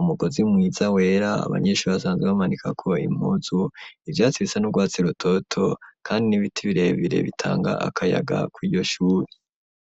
umugozi mwiza wera abanyeshure basanzwe bamanikako impuzu, ivyatsi bisa n'urwatsi rutoto kandi n'ibiti birebire bitanga akayaga kuri iryo shure.